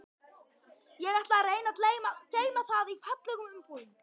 Ég ætla að reyna að geyma það í fallegum umbúðum.